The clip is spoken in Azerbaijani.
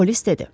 Polis dedi.